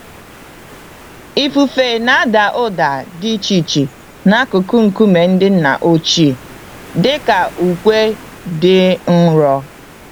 Ifufe nada ụda dị iche n'akụkụ nkume ndị nna ochie, dị ka ukwe dị nro.